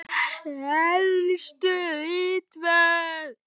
Helstu ritverk